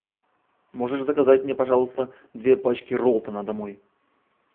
можешь заказать мне пожалуйста две пачки роллтона домой